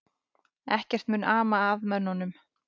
Ekkert mun ama að mönnunum